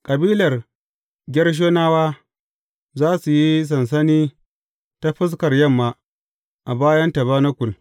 Kabilar Gershonawa za su yi sansani ta fuskar yamma, a bayan tabanakul.